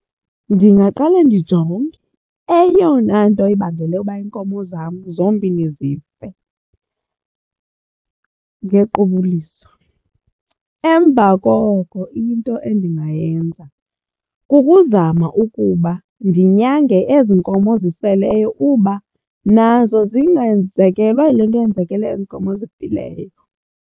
Ndingaqale ndijonge eyona nto ibangele ukuba iinkomo zam zombini zife ngequbuliso. Emva koko into endingayenza kukuzama ukuba ndinyange ezi nkomo ziseleyo uba nazo zingenzekelwa yile nto eyenzekileyo kwezi nkomo zifileyo.